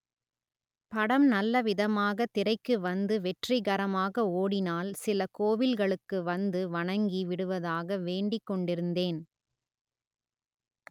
படம் நல்லவிதமாக திரைக்கு வந்து வெற்றிகரமாக ஓடினால் சில கோவில்களுக்கு வந்து வணங்கி விடுவதாக வேண்டிக்கொண்டிருந்தேன்